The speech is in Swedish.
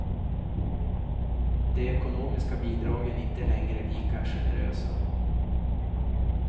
De ekonomiska bidragen är inte längre lika generösa.